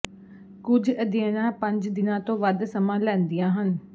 ਕੁਝ ਅਧਿਐਨਾਂ ਪੰਜ ਦਿਨਾਂ ਤੋਂ ਵੱਧ ਸਮਾਂ ਲੈਂਦੀਆਂ ਹਨ